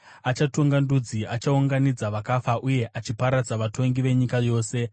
Achatonga ndudzi, achiunganidza vakafa, uye achiparadza vatongi venyika yose.